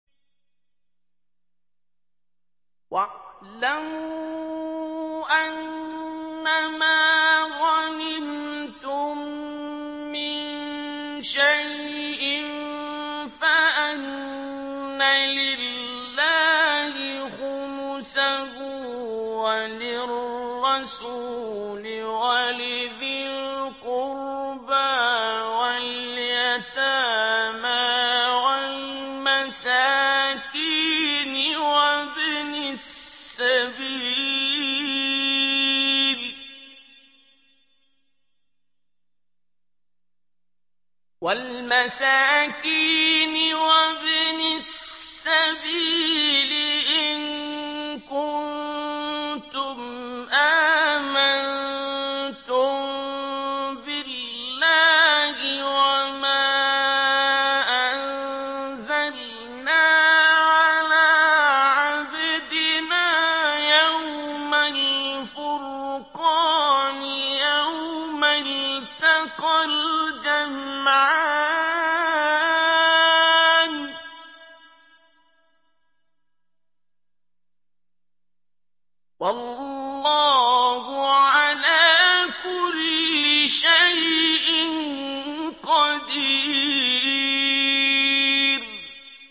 ۞ وَاعْلَمُوا أَنَّمَا غَنِمْتُم مِّن شَيْءٍ فَأَنَّ لِلَّهِ خُمُسَهُ وَلِلرَّسُولِ وَلِذِي الْقُرْبَىٰ وَالْيَتَامَىٰ وَالْمَسَاكِينِ وَابْنِ السَّبِيلِ إِن كُنتُمْ آمَنتُم بِاللَّهِ وَمَا أَنزَلْنَا عَلَىٰ عَبْدِنَا يَوْمَ الْفُرْقَانِ يَوْمَ الْتَقَى الْجَمْعَانِ ۗ وَاللَّهُ عَلَىٰ كُلِّ شَيْءٍ قَدِيرٌ